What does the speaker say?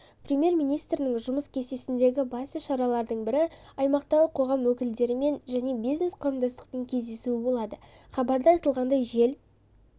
премьер-министрінің жұмыс кестесіндегі басты шаралардың бірі аймақтағы қоғам өкілдерімен және бизнес-қауымдастықпен кездесуі болады хабарда айтылғандай жел